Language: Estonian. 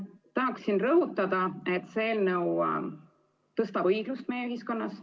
Tahan rõhutada, et see eelnõu suurendab õiglust meie ühiskonnas.